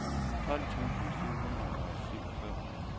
tolv tusind syv hundrede og syvogfyrre